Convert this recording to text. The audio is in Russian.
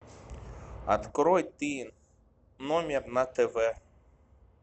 открой ты номер на тв